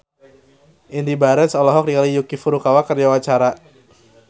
Indy Barens olohok ningali Yuki Furukawa keur diwawancara